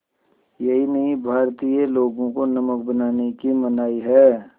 यही नहीं भारतीय लोगों को नमक बनाने की मनाही है